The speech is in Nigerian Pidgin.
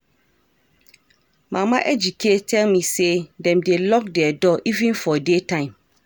Mama Ejike tell me say dem dey lock their door even for day time